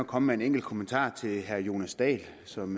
komme med en enkelt kommentar til herre jonas dahl som